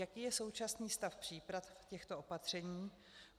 Jaký je současný stav příprav těchto opatření?